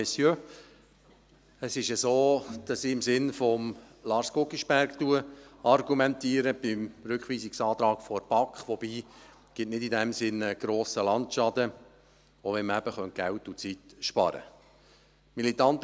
Es ist so, dass ich zum Rückweisungsantrag der BaK im Sinn von Lars Guggisberg argumentiere, wobei es in diesem Sinn keinen grossen Landschaden gibt, selbst wenn man eben Geld und Zeit sparen könnte.